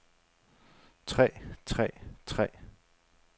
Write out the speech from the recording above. træ træ træ